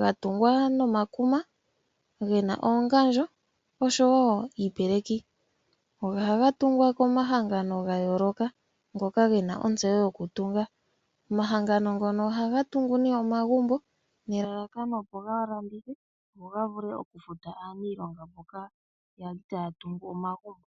Ga tungwa nomakuma ge na oongandjo oshowo iipeleki. Ohaga tungwa komahangano ga yooloka ngoka ge na ontseyo yokutunga. Omahangano ngono ohaga tungu nee omagumbo nelalakano opo ga landithe go ga vule okufuta aaniilonga mboka ya li taya tungu omagumbo.